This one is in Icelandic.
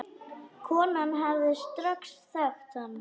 Konan hefði strax þekkt hann.